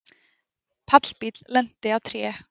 Pallbíll lenti á tré